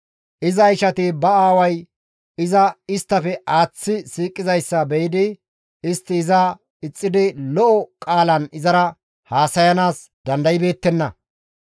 Iza ishati istta aaway iza isttafe aaththi siiqizayssa be7idi istti iza ixxidi lo7o qaalan izara haasayanaas dandaybeettenna.